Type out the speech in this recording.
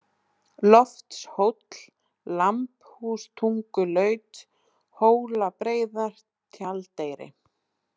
Loftshóll, Lambhústungulaut, Hólabreiðar, Tjaldeyri